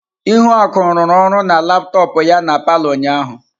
Ihuaku rụru ọrụ na laptọọpụ ya na palọ ụnyahụ.